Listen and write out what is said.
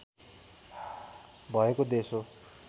भएको देश हो